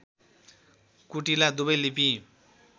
कुटिला दुबै लिपि